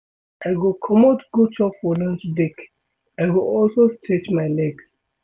I go comot go chop for lunch break, I go also stretch my legs.